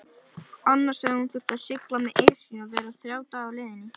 Annars hefði hún þurft að sigla með Esjunni og vera þrjá daga á leiðinni.